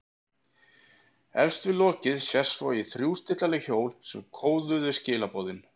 Efst við lokið sést svo í þrjú stillanleg hjól sem kóðuðu skilaboðin.